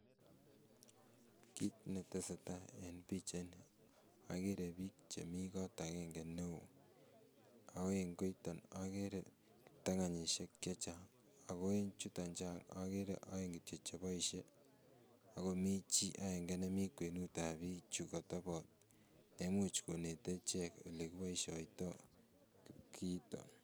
Kiit neteseta en pichaini okeree biik chemii kot akeng'e neoo, akoo en koiton okere tokenishek chechang akoo en chuton okere oeng kitiok cheboishe ak komii chii akeng'e nemii kwenutab bichu kotebot neimuch konete ichek elekiboishoitoi kiiton.